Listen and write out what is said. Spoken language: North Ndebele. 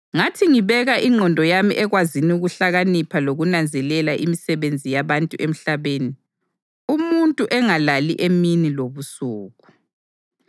Ngathi ngibeka ingqondo yami ekwazini ukuhlakanipha lokunanzelela imisebenzi yabantu emhlabeni, umuntu engalali imini lobusuku,